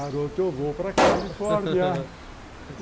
Garoto, eu vou para Califórnia.